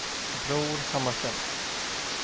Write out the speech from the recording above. Bror Hammarström